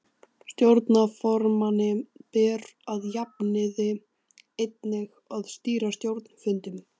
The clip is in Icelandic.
Stjórnarformanni ber að jafnaði einnig að stýra stjórnarfundum.